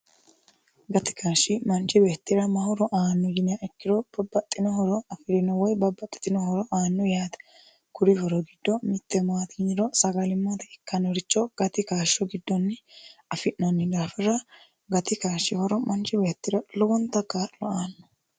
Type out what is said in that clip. gati kaashshi manchi beettira mahoro aanno yinniha ikkiro bobbaxxino horo afi'rino woy babbaxxino horo aanno yaate kuri horo giddo mitte maati yinniro sagalimmate ikkanoricho gati kaashsho giddonni afi'noonni daafira gati kaashshi horo manchi beettira lowonta kaa'lo aanno.